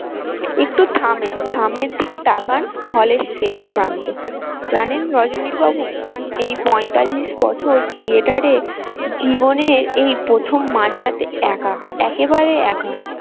একটু থামেন সামনের দিকে তাকান hall এর শেষ প্রান্তে জানেন রজনীবাবু এই বছর theatre এ জীবনে এই প্রথম মাঝরাতে একা একেবারে একা।